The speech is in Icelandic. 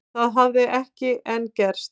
Það hafi ekki enn gerst